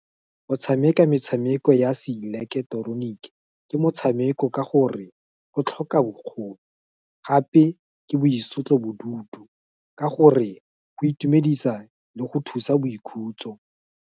Go tshameka metshameko ya seileketeroniki, ke motshameko ka gore, go tlhoka bokgoni, gape ke boitlosobodutu, ka gore go itumedisa le go thusa boikhutso.